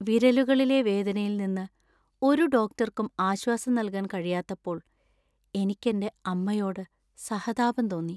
വിരലുകളിലെ വേദനയിൽ നിന്ന് ഒരു ഡോക്ടർക്കും ആശ്വാസം നൽകാൻ കഴിയാത്തപ്പോൾ എനിക്ക് എന്‍റെ അമ്മയോട് സഹതാപം തോന്നി.